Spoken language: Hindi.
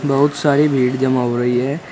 बहुत सारी भीड़ जमा हो रही है।